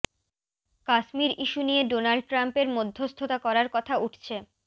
Kashmir issue নিয়ে Donald ট্রাম্পের মধ্যস্থতা করার কথা উঠছে